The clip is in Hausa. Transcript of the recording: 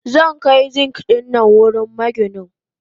Zankai Zink dinnan wurin maginin.